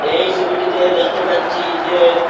এই সবিটিতে দেখতে পাচ্ছি যে--